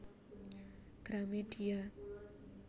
Gramedia